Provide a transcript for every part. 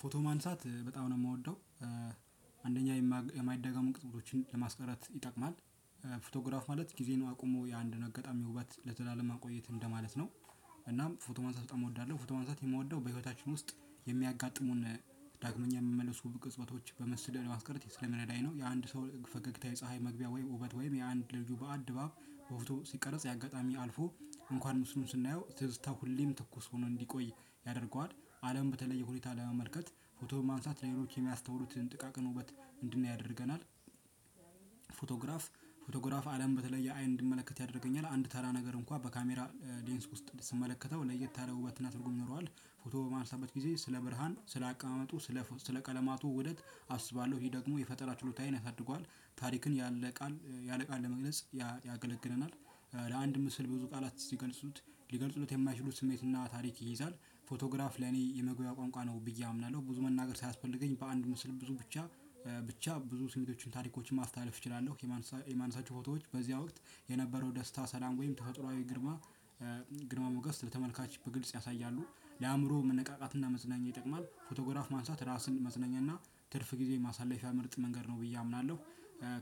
ፎቶ ማንሳት በጣም ነው የማወደው አንደኛ የማይደገሙ ቅጥፅበቶችን ለማስቀረት ይጠቅማል። ፎቶግራፍ ማለት ጊዜ ነው አቁሞ የአንድን አጋጣሚ ውበት ለዘላለም ማቆየት እንደማለት ነው። እናም ፎቶ ማንሳት በጣም እወዳለሁ። ፎቶ ማንሳት የምወደው በህይወታችን ውስጥ የሚያጋጥሙን ዳግመኛ የምመለሱ በቅጽበቶች በመስደል የማስቀርት ስለመረዳኝ ነው። የአንድ ሰው ፈገግታ የፀሀይ መግቢያ ወይም ውበት ወይም የአንድ ልጁ በዓል ድባብ ፍቶ ሲቀረጽ ያጋጣሚ አልፎ እንኳን ምስሉን ስናየው ትዝታ ሁሌም ትኩስ ሆኖ እንዲቆይ ያደርገዋል። አለም በተለየ ሁኔታ ለመመልከት ፎቶ በማንሳት ለሌሎች የሚያስተውሩትን ጥቃቅን ውበት እንድናይ ያደርገናል። ፎቶግራፍ ፎቶግራፍ አለም በተለየ አይን እንድመለከት ያደርገኛል። አንድ ተራ ነገር እንኳን በካሜራ ሌንስ ውስጥ ስመለከተው ለየት ያለ ውበት እና ትርጉም ይኖረዋል። ፎቶ በማንሳበት ጊዜ ስለ ብርሃን ስለ አቀማመጡ ስለ ስለ ቀለማቱ ውደት አስባለሁ። ይሄ ደግሞ የፈጠራ ችሎታዬን ያሳድጓል። ታሪክን ያለ ቃል ያለ ቃል ለመግለጽ ያገለግለናል። በአንድ ምስል ብዙ ቃለት ስገልፁት ልገልፁለት የማይችለው ስሜት እና ታሪክ ይይዛል። ፎቶግራፍ ለእኔ የመግባቢያ ቋንቋ ነው ብዬ አምናለሁ። ብዙ መነገር ሰያስፈልገኝ በአንድ ምስል ብዙ ብቻ ብቻ ብዙ ስሜቶችን ታሪኮችን ማስተላለፍ እችላለሁ። የማንሳቸው ፎቶዎች በዚህ ወቅት የነበረው ደስታ፣ ሰላም ወይም ተፈጥሮአዊ ግርማ ግርማ ሞገስ ለተመልካች በግልጽ ያሳያሉ። ለአእምሮ መነቃቃትና መዝናኛ ይጠቅማል። ፎቶግራፍ ማንሳት ራስን መዝናኛና ትርፍ ጊዜ ማሳለፊያ ምርጥ መንገድ ነው ብዬ አምናለሁ።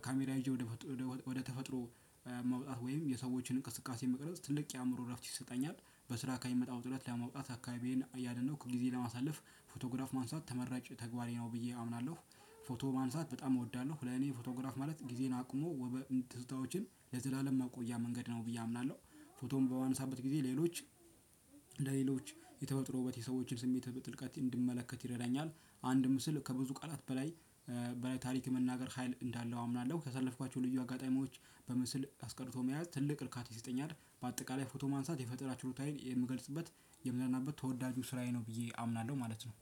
ካሜራ ይዤ ወደ ወደ ተፈጥሮ መውጣት ወይም የሰዎችን እንቅስቃሴ መቅረጽ ትልቅ የአእምሮ እረፍት ይሰጠኛል። በስራ ከምመጣው ውጥረት ለማውጣት አካባቢዬን አያደነቅኩ ከጊዜ ለማሳለፍ ፎቶግራፍ ማንሳት ተመራጭ ተግባሬ ነው ብዬ አምናለሁ። ፎቶ ማንሳት በጣም እወዳለሁ። ለኔ ፎቶግራፍ ማለት ጊዜን አቁሞ ውበት፣ ትዝታዎችን ለዘላለም መቆያ መንገድ ነው ብዬ አምናለሁ። ፎቶም በመያነሳበት ጊዜ ሌሎች ለሌሎች የተፈጠረው የሰዎችን ስሜትን በጥልቀት እንድመለከት ይረዳኛል። አንድ ምስል ከብዙ ቃላት በላይ በላይ ታሪክ መናገር ሀይል እንዳለው አምናለሁ። ከሰለፍኳቸው ልዩ አጋጣሚዎች በምስል አስቀርቶ መያዝ ትልቅ እርካታ ይሰጠኛል። በአጠቃላይ ፎቶ ማንሳት የፈጠራ ችሎታዬን የምገልጽበት የምዝናነበት ተወዳጁ ስራዬ ነው ብዬ አምናለሁ ማለት ነው።